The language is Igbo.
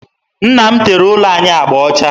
Nna m tere ụlọ anyị agba ọcha